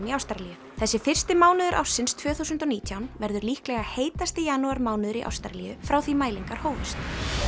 í Ástralíu þessi fyrsti mánuður ársins tvö þúsund og nítján verður líklega heitasti janúarmánuður í Ástralíu frá því mælingar hófust